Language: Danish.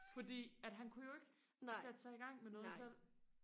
fordi at han kunne jo ikke sætte sig i gang med noget selv